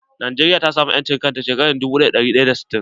Najeriya ta samu 'yancin kan ta shekara dubu ɗaya da ɗari tara da sittin.